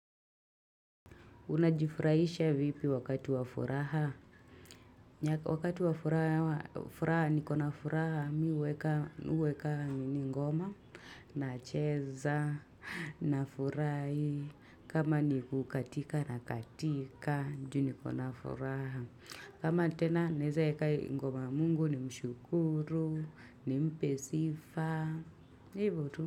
Unajifurahisha vipi wakati wa furaha? Wakati wa furaha ni kona furaha miweka ni ngoma na cheza na furai kama ni kukatika na katika juu ni kona furaha kama tena naeza eka ngoma mungu ni mshukuru ni mpesifa hivo tu.